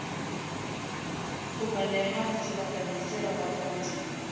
fumanehang sebakeng se bapatswang di